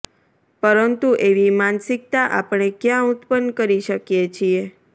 પરંતુ એવી માનસિકતા આપણે ક્યાં ઉત્પન્ન કરી શકીએ છીએ